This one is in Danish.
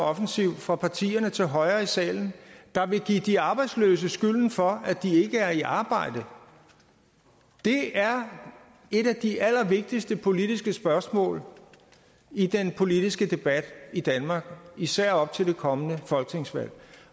offensiv fra partierne til højre i salen der vil give de arbejdsløse skylden for at de ikke er i arbejde det er et af de allervigtigste politiske spørgsmål i den politiske debat i danmark især op til det kommende folketingsvalg